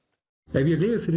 ef ég lifi fyrir